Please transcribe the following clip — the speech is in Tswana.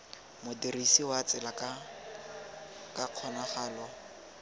modirisi wa tsela ka kgonagalo